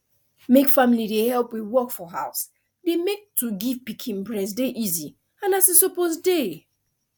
make family dey help with work for house dey make to give pikin breast dey easy and as e suppose dey